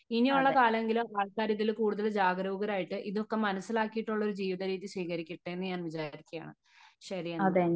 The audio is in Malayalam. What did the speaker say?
ഇനിയുള്ള കാലമെങ്കിലും ആൾക്കാർ ഇതിൽ കൂടുതൽ ജാഗരൂകരായിട്ട് ഇതൊക്കെ മനസ്സിലാക്കിയിട്ടുള്ള ജീവിത രീതി സ്വീകരിക്കട്ടെ എന്ന് ഞാൻ വിചാരിക്കുകയാണ് . ശെരിയെന്നാൽ